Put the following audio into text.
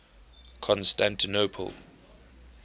constantinople